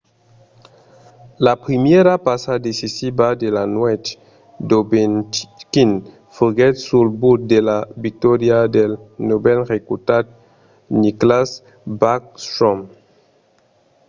la primièra passa decisiva de la nuèch d'ovechkin foguèt sul but de la victòria del novèl recrutat nicklas backstrom;